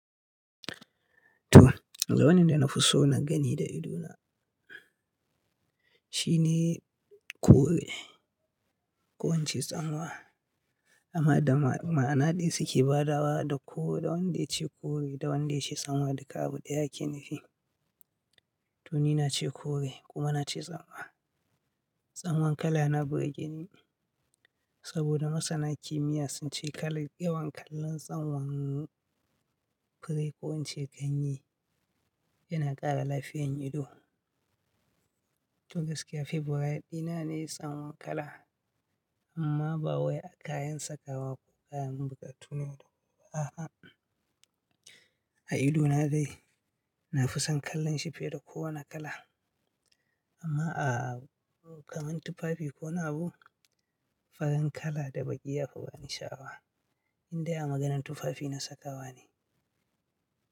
To, wani danda na fi so na gani da idona shine kore. Ko in ce tsanwa amma da ma'ana daya suke badawa da ko da wanda yace kore da wanda yace tsanwa duka abu daya a kenufi. To ni nace kore kuma nace tsanwa. Tsanwan kala yana burgeni saboda masana kimiya sun ce kalan yawan kalla tsanwan fure ko in ce ganye yana kara lafiyan ido. To gaskiya Favourite dina ne tsanwan kala amma ba wai a kayan sakawa ko kayan bukatu ne da ba'a a ido na dai. Na fi son kallon shi fiye da kowana kala amma a kaman tufafi ko na'abu farin kala da baki yafi bani shawa. Indai a maganan tufafi na sakawa ne.